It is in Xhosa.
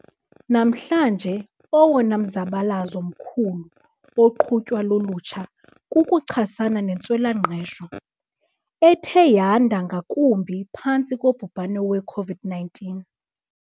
Namhlanje owona mzabalazo mkhulu oqhutywa lulutsha kukuchasana nentswela-ngqesho, ethe yanda ngakumbi phantsi kobhubhane we-COVID-19.